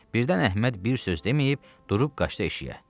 Birdən Əhməd bir söz deməyib, durub qaçdı eşşəyə.